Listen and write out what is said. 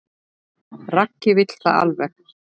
Raggi vill það alveg.